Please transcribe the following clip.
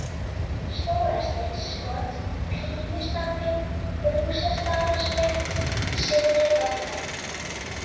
Stórasteinsskot, Kríustapi, Brúsastaðarétt, Syðri-varða